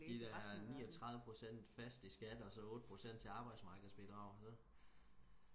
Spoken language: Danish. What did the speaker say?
de der niogtredive procent fast i skat og så otte procent til arbejdsmarkedsbidrag så